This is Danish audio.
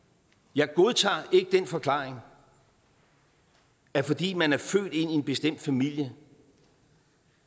jeg godtager ikke den forklaring at fordi man er født ind i en bestemt familie